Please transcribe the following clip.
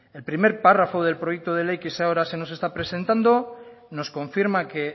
el primer párrafo del proyecto de ley que ahora se nos está presentando nos confirma que